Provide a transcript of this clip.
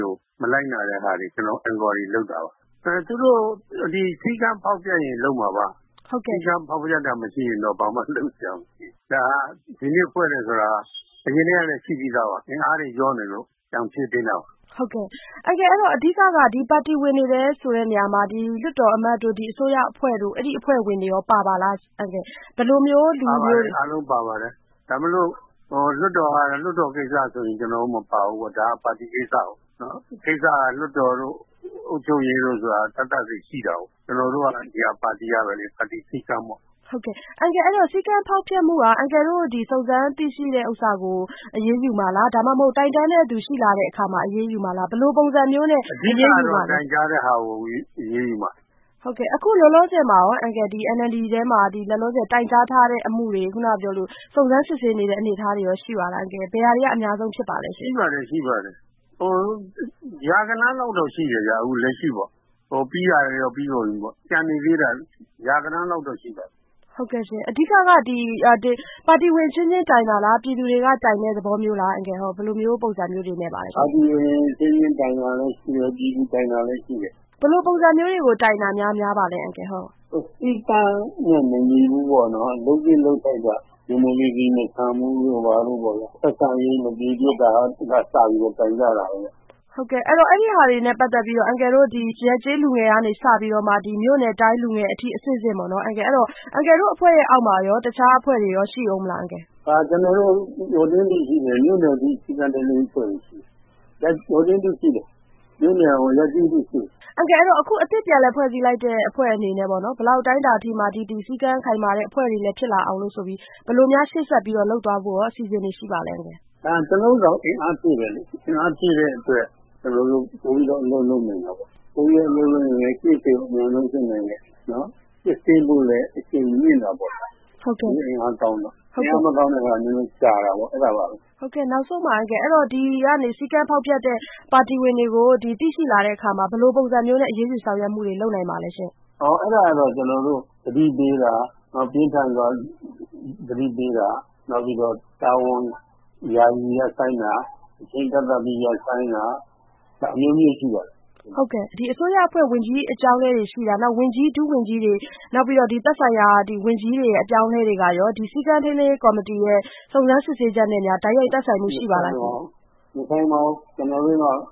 ကို မလိုက်နာတဲ့ဟာတွေကို ကျနော်တို့ Enquiry လုပ်တာပါ။ သူတို့ စည်းကမ်းဖောက်ဖျက်ရင်လုပ်မှာပါ။ စည်းကမ်းဖောက်ဖျက်တာမရှိရင်တော့ ဘာမှလုပ်စရာမရှိဘူး။ ဒါက ဒီနေ့ဖွဲ့တယ်ဆိုတာက အရင်ကတည်းကလည်း ရှိပြီးသားပါ အင်အားတွေလျှော့နေလို့ ပြန်ဖြည့်တင်းတာပါ။ ဟုတ်ကဲ့ အဲဒီတော့ အဓိက ပါတီဝင်တွေဆိုတဲ့နေရာမှာ လွှတ်တော်အမတ်တို့ အစိုးရအဖွဲ့တွေ တို့ အဲဒီအဖွဲ့ဝင်တွေရော ပါပါသလား။ ပါပါတယ် အားလုံးပါပါတယ်။ ဘာဖြစ်လို့လဲဆိုတော့ လွှတ်တော်ကိစ္စဆိုရင် ကျနော်တို့ မပါဘူးပေါ့နော် ဒါက ပါတီကိစ္စကို ။ ကိစ္စက လွှတ်တော်တို့ အုပ်ချုပ်ရေးတို့ဆိုတာ သပ်သပ်စီရှိတာကို ။ ကျနော်တို့ကတော့ ဒါပါတီပဲ လေ ပါတီစည်းကမ်းပေါ့ ။ စည်းကမ်းဖောက်ဖျက်မှုက အန်ကယ်တို့ စုံစမ်းသိရှိတဲ့ဟာကို အရေးယူမှာလား ဒါမှ မဟုတ် တိုင်တန်းတဲ့သူရှိရင် အရေးယူမှာလား။ ဘယ်လိုပုံစံမျိုးနဲ့ အရေးယူပါသလဲ။ အဓိကတော့ တိုင်ကြားတဲ့ဟာကို အရေးယူမှာ။ အခုလောလောဆယ် NLD ထဲမှာရော တိုင်ကြားထားတဲ့ အမှုတွေ စုံစမ်းစစ်ဆေးနေတဲ့ အနေအထားတွေရော ရှိပါသလား ဘယ်ဟာတွေ ကအများဆုံးဖြစ်ပါသလဲ။ ရှိပါတယ် ရာဂဏန်းလောက်တော့ရှိတယ်ခင်ဗျ။ အခုလက်ရှိပေါ့ ပြီးတာတွေ တော့ ပြီးပါပြီခင်ဗျ။ ကျန်နေသေးတာက ရာဂဏန်းလောက်တော့ ရှိပါတယ်။ ဟုတ်ကဲ့ရှင့် အဓိကတော့ ပါတီဝင်အချင်းချင်းတိုင်တာလား ပြည်သူတွေက တိုင်တဲ့သဘောမျိုးလား ဘယ်လိုပုံစံမျိုးတွေနဲ့ပါသလား။ ပါတီဝင်အချင်းချင်းတိုင်တာလည်းရှိတယ်၊ ပြည်သူတွေက တိုင်တာလည်းရှိတယ် ဘယ်လိုပုံစံမျိုးတွေကို တိုင်တာ များပါသလဲရှင့်။ စည်းကမ်းနဲ့ မညီဘူးပေါ့နော်၊ လုပ်တာ ဒီမိုကရေစီမဆန်ဘူးပေါ့နော် ဆက်ဆံရေးမပြေပြစ်တာတို့ ဟုတ်ကဲ့ အဲဒီတွေနဲ့ ပတ်သက်ပြီးတော့အန်ကယ်တို့ ရပ်ကျေးလူငယ်ကနေ စပြီး မြို့နယ်တိုင်းလူငယ် အထိ အဆင့်ဆင့်ပေါ့နော် အယ်ကယ်တို့ အဖွဲ့အောက်မှာ တခြားအဖွဲ့တွေရော ရှိဦးမလား။ ကျနော်တို့ မြို့နယ်အထိတော့ စည်းကမ်းထိန်းသိမ်းရေးအဖွဲ့တွေရှိတယ်။ မြို့နယ် ရပ်ကျေးအထိရှိတယ် အန်ကယ်အခု အသစ်ပြန်လည်ဖွဲ့စည်းလိုက်တဲ့ အဖွဲ့အနေနဲ့ ဘယ်လောက်အတိုင်းအတာအထိမှာ ဒီလောက် စည်းကမ်းခိုင်မာတဲ့ အဖွဲ့တွေလည်း ဖြစ်လာအောင်လို့ဆိုပြီးတော့ ဘယ်လိုများရှေ့ဆက်ပြီးတော့ လုပ်သွားဖို့ အစီအစဉ်တွေရှိပါသလဲ။ ကျနော်တို့ကတော့ ဒါကို အင်အားဖြည့်တဲ့အတွက် ပိုပြီးတော့ အလုပ်လုပ်နိုင်တာပေါ့။ ပိုပြီးတော့ အလုပ်လုပ်နိုင်တော့ Case တွေကို အမြန်ဆုံးစစ်နိုင်တယ်။ စစ်ဆေးမှုကိုလည်း အရှိန်မြင့်တာပေါ့နော် လူအင်အားကောင်းတော့ အင်အားမကောင်းရင်တော့ ကြာတာပေါ့နော်။ နောက်ဆုံးပါ အန်ကယ် ဒီကနေပြီးတော့ စည်းကမ်းဖောက်ဖျက်တဲ့ ပါတီဝင်တွေကို သိရှိလာတဲ့အခါမှာ ဘယ်လိုပုံစံမျိုးနဲ့ အရေးယူဆောင်ရွက်မှုတွေ လုပ်နိုင်ပါသလဲရှင့်။ အဲဒါကတော့ ကျတော်တို့ သတိပေးတာ ပြင်းထန်စွာ သတိပေးတာ ၊ နောက်ပြီးတော့ တာဝန်ယာယီရပ်ဆိုင်းတာ အချိန်ကန့်သတ်ပြီးတော့ ရပ်ဆိုင်းတာ နောက်အမျိုးမျိုးရှိပါတယ်။ ဒီအစိုးရအဖွဲ့ ဝန်ကြီးအပြောင်းအလဲတွေရှိတာ နောက်ပြီး ဝန်ကြီး ဒုဝန်ကြီးတွေ နောက်ပြီးတော့ သက်ဆိုင်ရာ ဝန်ကြီးတွေရဲ့ အပြောင်းအလဲတွေကရော ဒီစည်းကမ်းထိန်းသိမ်းရေး ကော်မတီ ရဲ့ စုံစမ်းစစ်ဆေးချက်နဲ့ တိုက်ရိုက်သက်ဆိုင်မှုတွေရှိပါသလား မဆိုင်ပါဘူး ကျနော်တိ